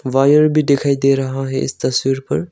Wire भी दिखाई दे रहा है इस तस्वीर पर।